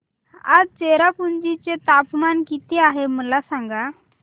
आज चेरापुंजी चे तापमान किती आहे मला सांगा